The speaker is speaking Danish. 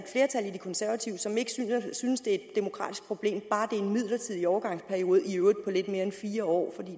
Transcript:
de konservative som ikke synes det er et demokratisk problem bare det er en midlertidig overgangsperiode i øvrigt på lidt mere end fire år